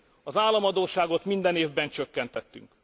Az államadósságot minden évben csökkentettük.